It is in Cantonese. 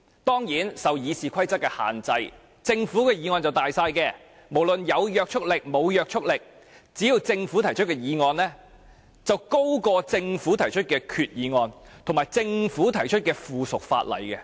當然，由於受到《議事規則》所限，政府的議案是最大的，不管它是否具法律約束力，政府提出的所有議案，其地位均高於政府提出的決議案及附屬法例。